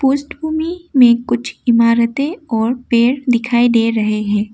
भूमि में कुछ इमारतें और पेड़ दिखाई दे रहे हैं।